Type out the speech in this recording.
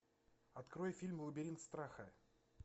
открой фильм лабиринт страха